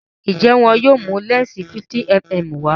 njé wón yóò mú lẹnsi 50mm wá?